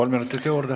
Kolm minutit juurde.